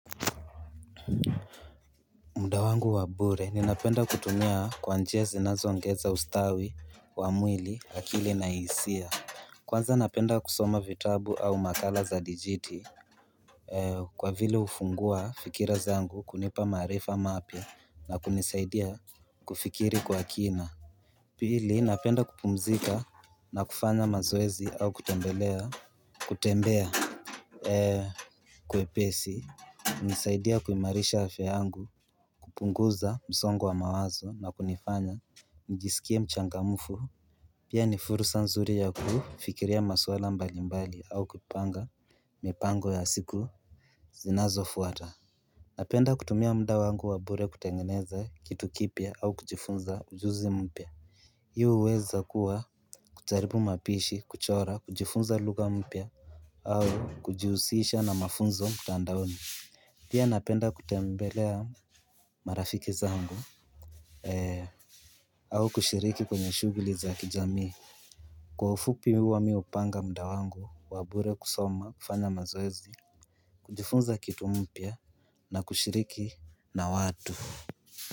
Muda wangu wa bure, ninapenda kutumia kwa njia zinazoongeza ustawi, wa mwili, hakili na hisia Kwanza napenda kusoma vitabu au makala za dijiti Kwa vile ufungua fikira zangu kunipa maarifa mapya na kunisaidia kufikiri kwa kina Pili, napenda kupumzika na kufanya mazoezi au kutembelea, kutembea kwepesi nisaidia kuimarisha hafe yangu kupunguza msongo wa mawazo na kunifanya njisikie mchangamufu Pia ni furusa nzuri ya kufikiria maswala mbalimbali au kupanga mipango ya siku zinazofuata Napenda kutumia mda wangu wa bure kutengeneza kitu kipya au kujifunza ujuzi mpya Hii huweza kuwa kujaribu mapishi kuchora kujifunza luga mpia au kujihusisha na mafunzo mtandaoni Pia napenda kutembelea marafiki zangu au kushiriki kwenye shuguli za kijamii Kwa ufupi huwa mi hupanga mda wangu wa bure kusoma kufanya mazoezi kujifunza kitu mpya na kushiriki na watu.